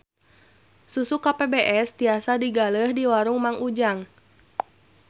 Susu KPBS tiasa digaleh di warung Mang Ujang